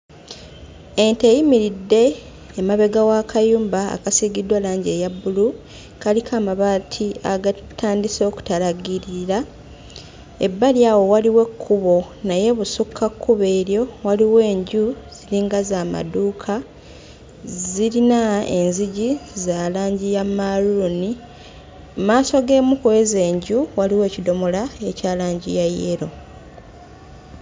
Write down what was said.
Ente eyimiridde emabega w'akayumba akasiigiddwa langi eya bbulu kaliko amabaati agatandise okutalaggirira. Ebbali awo waliwo ekkubo naye ebusukka kkubo eryo waliwo enju ziringa za maduuka, zirina enzigi za langi ya mmaaluuni. Mmaaso g'emu kw'ezo enju waliwo ekidomola ekya langi ya yellow.